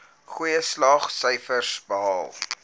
goeie slaagsyfers behaal